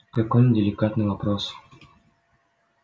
какой неделикатный вопрос